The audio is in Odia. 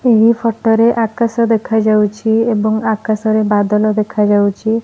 ଏହି ଫୋଟୋ ରେ ଆକାଶ ଦେଖା ଯାଉଛି ବଦଳ ଦେଖା ଯାଉଛି।